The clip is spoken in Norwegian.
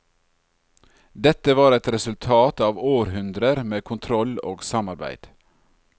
Dette var et resultat av århundrer med kontroll og samarbeid.